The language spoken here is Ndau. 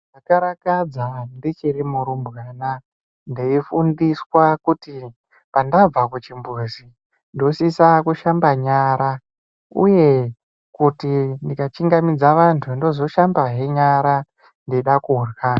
Ndakarakadza ndichiri murumbwana, ndeifundiswa kuti pandabva kuchimbuzi, ndosisa kushamba nyara, uye kuti ndikachingamidza vantu, ndozoshambahe nyara ndeida kurya.